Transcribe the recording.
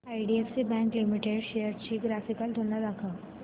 IDFC bank limited shares ची graphical तुलना दाखव